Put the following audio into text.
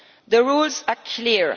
The rules are clear.